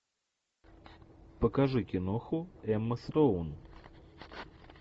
покажи киноху эмма стоун